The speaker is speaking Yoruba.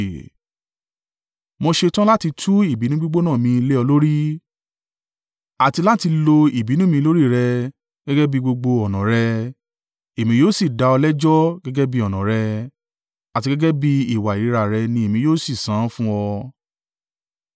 Mo ṣetán láti tú ìbínú gbígbóná mi lé ọ lórí àti láti lo ìbínú mi lórí rẹ gẹ́gẹ́ bí gbogbo ọ̀nà rẹ, èmi yóò sì dá ọ lẹ́jọ́ gẹ́gẹ́ bí ọ̀nà rẹ àti gẹ́gẹ́ bí ìwà ìríra rẹ ni èmi yóò sì san án fún ọ.